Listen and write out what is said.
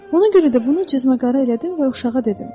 Buna görə də bunu cizməqara elədim və uşağa dedim.